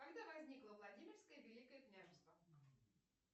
когда возникло владимирское великое княжество